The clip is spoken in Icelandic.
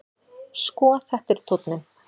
Sko, þetta er tónninn!